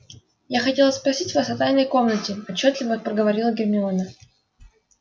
я хотела спросить вас о тайной комнате отчётливо проговорила гермиона